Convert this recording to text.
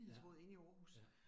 Ja, ja